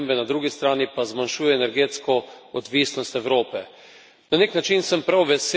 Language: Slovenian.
Na eni strani na klimatske spremembe, na drugi strani pa zmanjšuje energetsko odvisnost Evrope.